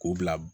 K'u bila